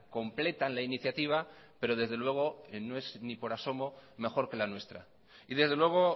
completan la iniciativa pero desde luego no es ni por asomo mejor que la nuestra y desde luego